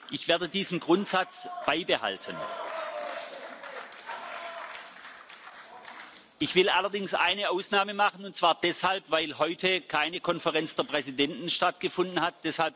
Ich werde diesen Grundsatz beibehalten. Ich will allerdings eine Ausnahme machen, und zwar deshalb, weil heute keine Konferenz der Präsidenten stattgefunden